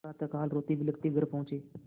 प्रातःकाल रोतेबिलखते घर पहुँचे